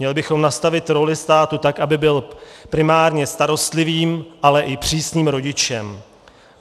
Měli bychom nastavit roli státu tak, aby byl primárně starostlivým, ale i přísným rodičem.